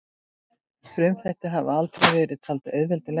Frumþættir hafa aldrei verið taldir auðveld lesning.